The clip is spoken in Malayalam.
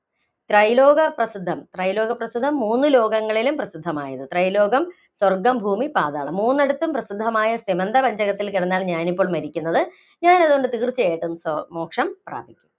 ത്രൈലോക പ്രസിദ്ധം, ത്രൈലോക പ്രസിദ്ധം - മൂന്നു ലോകങ്ങളിലും പ്രസിദ്ധമായത്, ത്രൈലോകം - സ്വര്‍ഗ്ഗം, ഭൂമി, പാതാളം. മൂന്നിടത്തും പ്രസിദ്ധമായ സ്യമന്തപഞ്ചകത്തില്‍ കിടന്നാണ് ഞാനിപ്പോ മരിക്കുന്നത്. ഞാനതുകൊണ്ട് തീര്‍ച്ചയായിട്ടും മോക്ഷം പ്രാപിക്കും.